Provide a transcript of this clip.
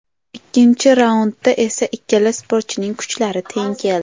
Ikkinchi raundda esa ikkala sportchining kuchlari teng keldi.